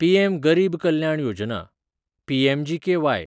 PM Garib Kalyan Yojana (PMGKY)